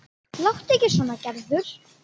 Láttu ekki svona Gerður.